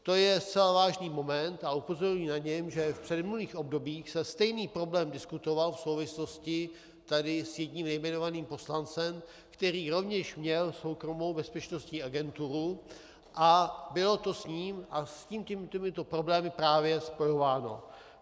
To je zcela vážný moment a upozorňuji na to, že v předminulých obdobích se stejný problém diskutoval v souvislosti tady s jedním nejmenovaným poslancem, který rovněž měl soukromou bezpečnostní agenturu, a bylo to s ním a s těmito problémy právě spojováno.